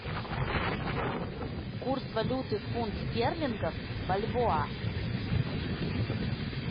курс валюты фунт стерлингов в бальбоа